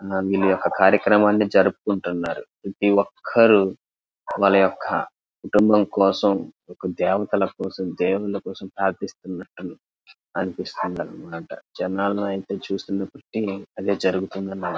వీళ్లు ఒక కార్యక్రమాన్ని జరుపుకుంటున్నారు ప్రతి ఒక్కరూ వాళ్ళ యొక్క కుటుంబం కోసం ఒక దేవతల కోసం దేవుళ్ళ కోసం ప్రార్థిస్తున్నట్టు అనిపిస్తుంది అనమాట జనాలైతే చూస్తున బట్టి అదే జరుగుతుందన్నమాట.